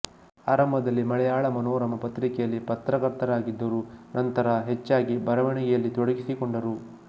ಆರಂಭದಲ್ಲಿ ಮಲಯಾಳ ಮನೋರಮ ಪತ್ರಿಕೆಯಲ್ಲಿ ಪತ್ರಕರ್ತರಾಗಿದ್ದರು ನಂತರ ಹೆಚ್ಚಾಗಿ ಬರವಣಿಗೆಯಲ್ಲಿ ತೊಡಗಿಸಿಕೊಂಡರು